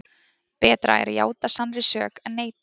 Betra er að játa sannri sök en neita.